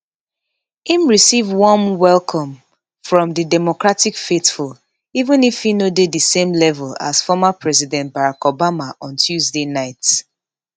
im receive warm um welcome from di democratic faithful even if e no dey di same level as former president barack obama on tuesday night